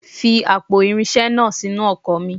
Fi àpò irinṣẹ́ iná sínú ọkọ̀ mi.